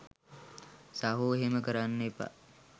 සහෝ එහෙම කරන්න එපා